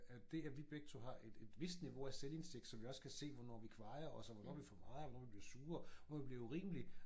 At det at vi begge to har et et vist niveau af selvindsigt så vi også kan se hvornår vi kvajer os og hvornår vi for meget og hvornår vi bliver sure hvornår vi bliver urimelige